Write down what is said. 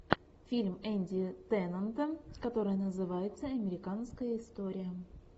фильм энди теннанта который называется американская история